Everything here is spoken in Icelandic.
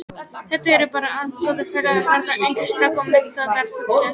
Þetta eru bara allt góðir félagar þarna, ungir strákar og metnaðarfullir.